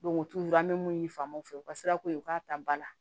u t'u an bɛ mun ɲini faamaw fɛ u ka sirako ye u k'a ta ba la